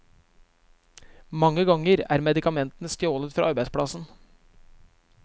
Mange ganger er medikamentene stjålet fra arbeidsplassen.